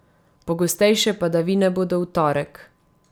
Pogostejše padavine bodo v torek.